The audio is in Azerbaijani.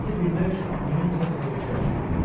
Səmti bilmək üçün onun kompasa ehtiyacı yox idi.